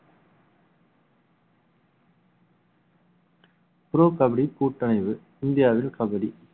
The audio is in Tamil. proof கபடி கூட்டமைவு இந்தியாவில் கபடி